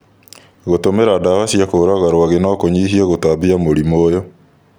Gũtũmĩra ndawa cia kũũraga rwagĩ no kũnyihie gũtambia mũrimũ ũyũ.